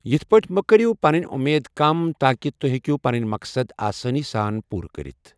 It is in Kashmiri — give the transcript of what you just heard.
یتھی پٲٹھۍ مہ کٔرٮ۪و پَنٕنۍ وۄمید کم تاکہ توہۍ ہٮ۪کو پَنٕنۍ مَقصَد آسٲنی سان پورٕ کرِتھ۔